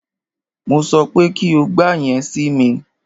Mo sọ pé kí o gba yẹn si mi!